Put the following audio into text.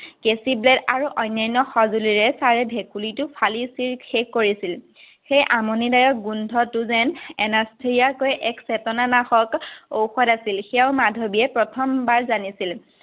কেচি, ব্লেদ আৰু অন্যান্য সজুলিৰে চাৰে ভেকুলীটো ফালি-চিৰি শেষ কৰিছিল। সেই আমনিদায়ক গোন্ধটো যেন anaesthesia তকৈ এক চেতনা নাশক ঔষধ আছিল, সেয়া মাধৱীয়ে প্ৰথমবাৰ জানিছিল।